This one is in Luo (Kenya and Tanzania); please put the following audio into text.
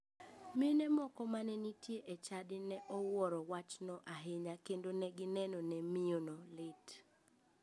Mine moko mane nitie e chadi ne owuoro wachno ahinya kendo ne gineno ne miyono lit.